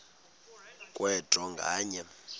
kwe draw nganye